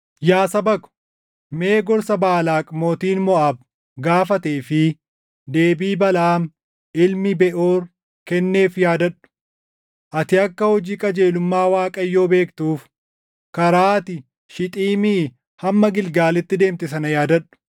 Yaa saba ko, mee gorsa Baalaaq mootiin Moʼaab gaafatee fi deebii Balaʼaam ilmi Beʼoor kenneef yaadadhu. Ati akka hojii qajeelummaa Waaqayyoo beektuuf karaa ati Shixiimii hamma Gilgaalitti deemte sana yaadadhu.”